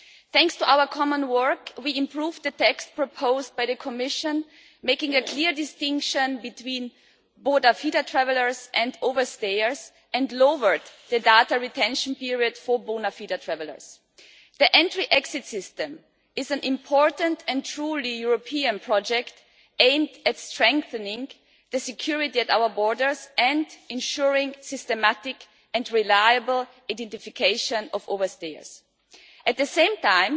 Thanks to our common work, we improved the text proposed by the Commission, making a clear distinction between travellers and over stayers and lowered the data retention period for travellers. The Entry Exit System is an important and truly European project aimed at strengthening security at our borders and ensuring systematic and reliable identification of over-stayers. At the same time,